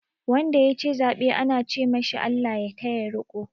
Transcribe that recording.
Wanda ya ci zaɓe ana ce ma shi "Allah ya taya riƙo"